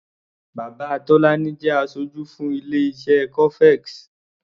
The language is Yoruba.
Bàbá Tọ́lání jẹ́ aṣojú fún ilé-iṣé cofex.